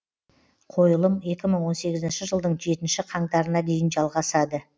қойылым екі мың он сегізінші жылдың жетінші қаңтарына дейін жалғасады